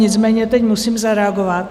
Nicméně teď musím zareagovat.